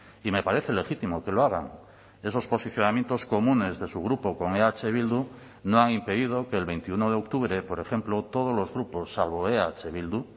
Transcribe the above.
y me parece legítimo que lo hagan esos posicionamientos comunes de su grupo con eh bildu no han impedido que el veintiuno de octubre por ejemplo todos los grupos salvo eh bildu